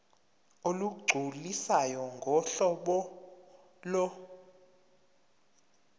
olugculisayo ngohlobo lo